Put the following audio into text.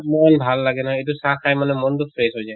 ইমান ভাল না এইটো চাহ খাই মানে মনতো fresh হৈ যায়।